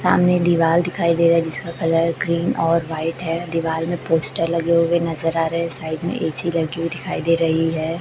सामने दीवाल दिखाई दे रहा है जिसका कलर ग्रीन और वाइट है दीवाल में पोस्टर लगे हुए नजर आ रहे है साइड में ए_सी लगी हुई दिखाई दे रही है।